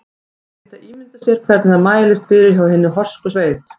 Menn geta ímyndað sér hvernig það mælist fyrir hjá hinni horsku sveit.